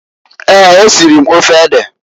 Eeǃ Esiri m ofe ede.